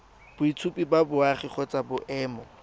boitshupo ba boagi kgotsa boemo